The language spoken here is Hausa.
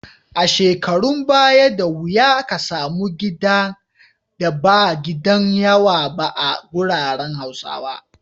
A shekarun baya, da wuya ka samu gidan da ba gidan yawa ba a garuruwan Hausawa.